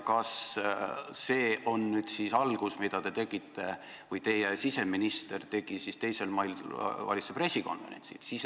Kas see on algus, mille teie valitsuse siseminister tegi 2. mail valitsuse pressikonverentsil?